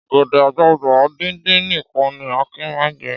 Ọ̀gẹ̀dẹ̀ àgbàgbà díndín nìkan ni Akin máa ń jẹ.